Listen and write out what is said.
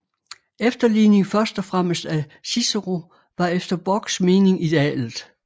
Efterligning først og fremmest af Cicero var efter Borchs mening idealet